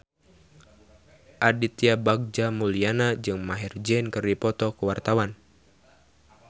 Aditya Bagja Mulyana jeung Maher Zein keur dipoto ku wartawan